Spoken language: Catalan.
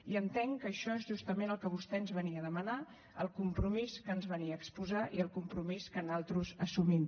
i entenc que això és justament el que vostè ens venia a demanar el compromís que ens venia a exposar i el compromís que nosaltres assumim